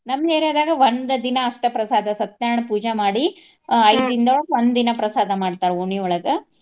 ನಮ್ಮ್ area ದಾಗ ಒಂದ್ ದಿನಾ ಅಷ್ಟ ಪ್ರಸಾದ ಸತ್ಯನಾರಾಯಣ ಪೂಜಾ ಮಾಡಿ ದಿನದೊಳಗ ಒಂದ್ ದಿನಾ ಪ್ರಸಾದ ಮಾಡ್ತಾರ ಓಣಿಯೊಳಗ.